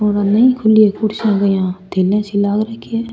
और उनने खुली कुर्सियां थैलियां सी लाग रखी है।